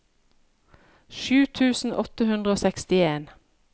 sju tusen åtte hundre og sekstien